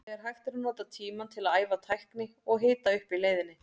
Þegar hægt er að nota tímann til að æfa tækni og hita upp í leiðinni.